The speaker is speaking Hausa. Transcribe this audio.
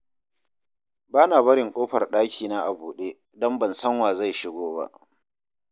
Ba na barin ƙofar ɗakina a buɗe, don ban san wa zai shigo ba